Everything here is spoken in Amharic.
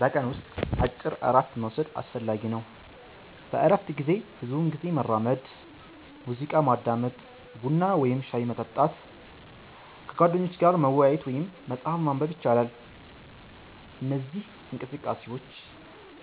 በቀን ውስጥ አጭር እረፍት መውሰድ አስፈላጊ ነው። በእረፍት ጊዜ ብዙውን ጊዜ መራመድ፣ ሙዚቃ ማዳመጥ፣ ቡና ወይም ሻይ መጠጣት፣ ከጓደኞች ጋር መወያየት ወይም መጽሐፍ ማንበብ ይቻላል። እነዚህ እንቅስቃሴዎች